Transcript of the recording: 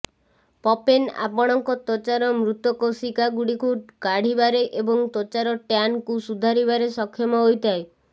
papain ଆପଣଙ୍କ ତ୍ବଚାର ମୃତ କୋଷିକା ଗୁଡିକୁ କାଢିବାରେ ଏବଂ ତ୍ବଚାର ଟ୍ଯାନ୍ କୁ ସୁଧାରିବାରେ ସକ୍ଷମ ହୋଇଥାଏ